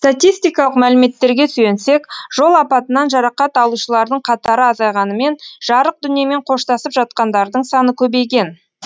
статистикалық мәліметтерге сүйенсек жол апатынан жарақат алушылардың қатары азайғанымен жарық дүниемен қоштасып жатқандардың саны көбейген